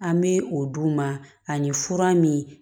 An bɛ o d'u ma ani fura min